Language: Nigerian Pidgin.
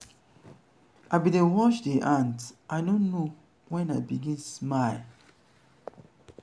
i like as dese birds dey sing e dey give me joy.